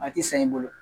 A ti san i bolo